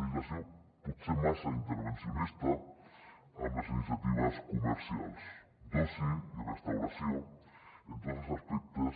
legislació potser massa intervencionista amb les iniciatives comercials d’oci i restauració en tots els aspectes